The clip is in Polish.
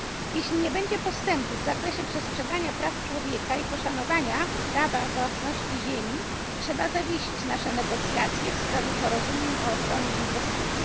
Jeśli nie będzie postępów w zakresie przestrzegania praw człowieka i poszanowania prawa własności ziemi, trzeba będzie zawiesić nasze negocjacje w sprawie porozumień o ochronie inwestycji.